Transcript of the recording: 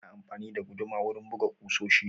Ana amfani da guduma wurin buga ƙusoshi